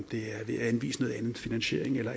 ved at anvise en anden finansiering eller